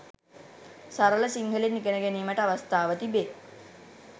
සරල සිංහලෙන් ඉගෙන ගැනීමට අවස්ථාව තිබේ.